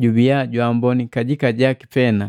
jubiya jwaamboni kajika jaki pena.